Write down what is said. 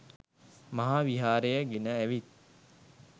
මහා විහාරය ගෙන ඇවිත්